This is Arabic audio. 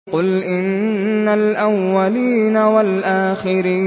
قُلْ إِنَّ الْأَوَّلِينَ وَالْآخِرِينَ